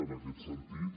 en aquest sentit